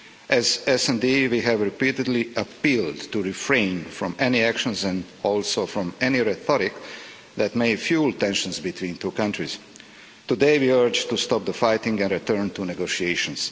As the SD, we have repeatedly appealed to refrain from any actions and also from any rhetoric that may fuel tensions between the two countries. Today we urge to stop the fighting and return to negotiations.